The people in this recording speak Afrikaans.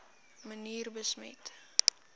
manier besmet